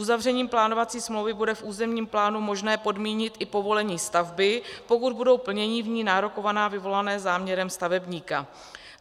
Uzavřením plánovací smlouvy bude v územním plánu možné podmínit i povolení stavby, pokud budou plnění v ní nárokovaná vyvolaná záměrem stavebníka.